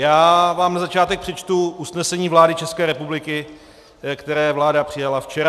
Já vám na začátek přečtu usnesení vlády České republiky, které vláda přijala včera.